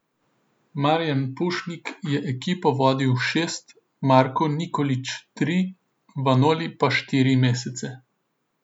Marijan Pušnik je ekipo vodil šest, Marko Nikolić tri, Vanoli pa štiri mesece.